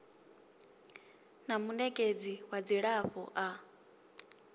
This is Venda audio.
na munekedzi wa dzilafho a